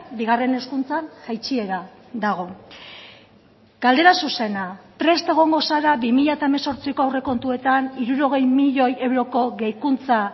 bigarren hezkuntzan jaitsiera dago galdera zuzena prest egongo zara bi mila hemezortziko aurrekontuetan hirurogei milioi euroko gehikuntza